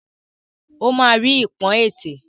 O ma ri ipọn ètè é.